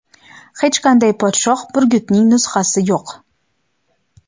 Hech qanday podshoh burgutining nusxasi yo‘q.